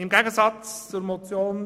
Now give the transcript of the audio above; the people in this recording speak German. Im Gegensatz zur Motion